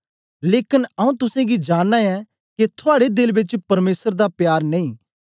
लेकन आऊँ तुसेंगी जानना ऐं के थुआड़े देल बेच परमेसर दा प्यार नेई